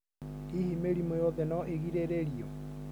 Hihi mĩrimũ yothe no ĩgirĩrĩrio?